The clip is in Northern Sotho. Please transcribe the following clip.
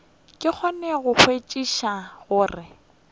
ke kgone go kwešiša gore